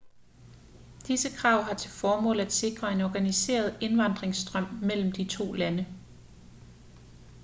disse krav har til formål at sikre en organiseret indvandringsstrøm mellem de to lande